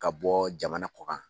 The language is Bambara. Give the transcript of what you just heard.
Ka bɔ jamana kɔ kan.